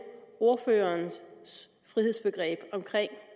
ordførerens frihedsbegreb